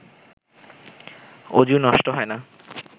অযু নষ্ট হয় না